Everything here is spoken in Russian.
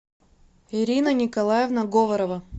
ирина николаевна говорова